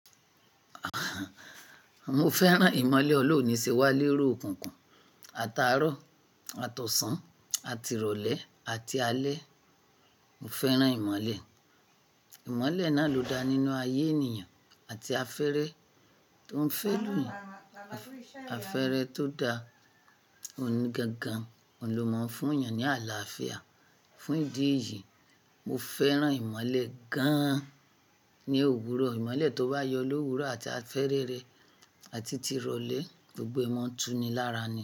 Mo fẹ́ràn ìmọ̀le ọlọ́run níṣe wá lérò kùkùn, ata àárọ̀, àtọ̀sàn, àtirọ̀lẹ́ àti alẹ́. Mo fẹ́ràn ìmọ̀le. Ìmọ̀le náà ló dá nínú ayé ènìyàn àti afẹ́rẹ tó ń fẹ́lùyàn. Afẹ́rẹ tó da ni gangan, òun ló mọ̀ fún ènìyàn ní àlàáfíà. Fún ìdí èyí, mo fẹ́ràn ìmọ̀le gan-an ní òwúrọ̀. Ìmọ̀le tó bá yọ lówúrọ̀ àti afẹ́rẹ́ rẹ̀ àti tirọ̀lẹ́, gbogbo ẹ̀ mọ́túnni lára ni.